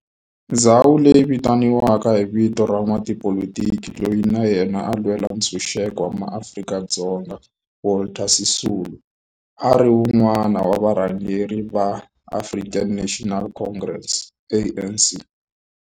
Ndhawo leyi yi vitaniwa hi vito ra n'watipolitiki loyi na yena a lwela ntshuxeko wa maAfrika-Dzonga Walter Sisulu, a ri wun'wana wa varhangeri va African National Congress, ANC.